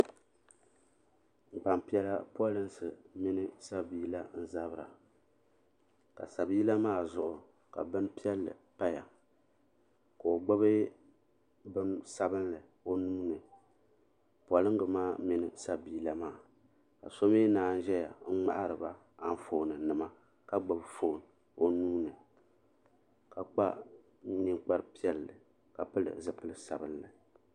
Gbampiɛla polinsi mini sabiila n zabra ka sabiila maa zuɣu ka binpiɛlli paya ka o gbibi bini sabinli o nuuni polinga maa mini sabiila maa ka so mii naan zaya n ŋmahiriba Anfooni nama ka gbibi fooni o nuuni ka kpa ninkpari piɛlli ka pili zipili sabinli.